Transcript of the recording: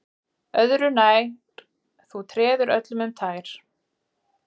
Öðru nær, þú treður öllum um tær